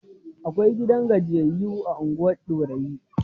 Akwai gidan gajiyayyu a unguwar Dorayi.